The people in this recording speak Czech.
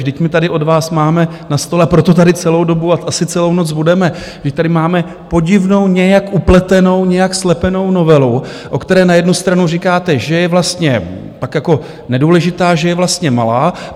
Vždyť my tady od vás máme na stole, a proto tady celou dobu a asi celou noc budeme, vždyť tady máme podivnou nějak upletenou, nějak slepenou novelu, o které na jednu stranu říkáte, že je vlastně pak jako nedůležitá, že je vlastně malá.